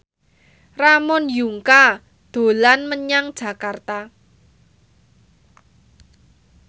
Ramon Yungka dolan menyang Jakarta